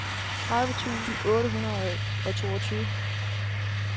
tredive tusind otte hundrede og toogtyve